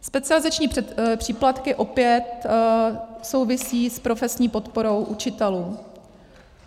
Specializační příplatky opět souvisí s profesní podporou učitelů.